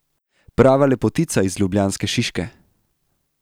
Prava lepotica iz ljubljanske Šiške!